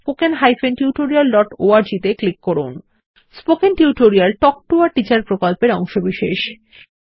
spoken টিউটোরিয়াল তাল্ক টো a টিচার প্রকল্পের অংশবিশেষ